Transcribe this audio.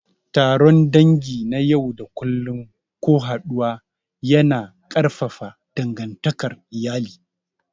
Taron dangi na yau da kullun ko haɗuwa yana ƙarfafa dangantakar iyali.